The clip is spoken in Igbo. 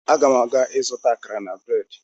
Aga m aga ịzụta akara na breedị